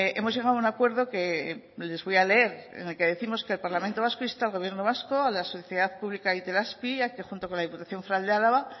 hemos llegado a un acuerdo que les voy a leer en el que décimos que el parlamento vasco insta al gobierno vasco a la sociedad pública itelazpi a que junto con la diputación foral de álava